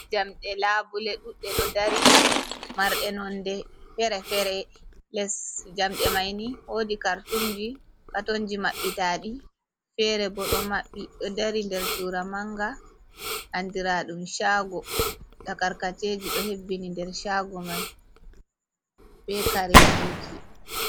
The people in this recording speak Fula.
jamɗe labule ɗuɗɗe do dari marɗe nonde fere-fere les jamɗe maini wodi kartumji katonji maɓɓitaɗi fere bo ɗo maɓɓi ɗo dari der cura manga andiraɗum chago takarkaceji ɗo hebbini nder chago mai be kareji ji.